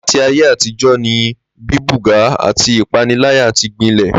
Láti ayé àtijó̩ ni bíbùgá àti ìpániláyà ti gbilè̩